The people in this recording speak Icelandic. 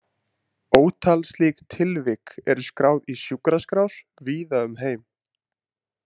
Ótal slík tilvik eru skráð í sjúkraskrár víða um heim.